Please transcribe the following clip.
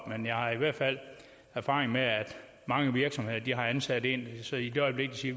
men jeg har i hvert fald erfaring med at mange virksomheder har ansat en så i det øjeblik de